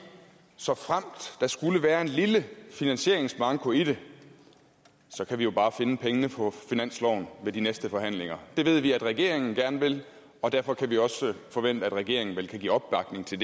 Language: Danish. såfremt der skulle være en lille finansieringsmanko i det kan vi jo bare finde pengene på finansloven ved de næste forhandlinger det ved vi at regeringen gerne vil og derfor kan vi også forvente at regeringen vel kan give opbakning til